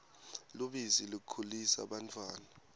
lubisi likhulisa bantfwana